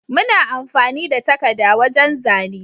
Muna amfani da takada wajan zane